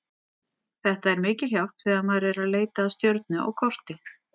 Þetta er mikil hjálp þegar maður er að leita að stjörnu á korti.